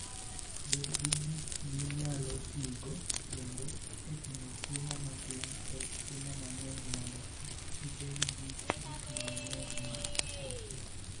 Bed gi gik minyalo tigo kendo e ting'o chiemo matin kod chiemo mang'eny mondo kik ibed gi gik mang'eny ma iketho.